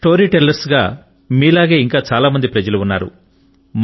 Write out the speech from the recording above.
story tellers గా మీలాగే ఇంకా చాలా మంది ప్రజలు ఉన్నారు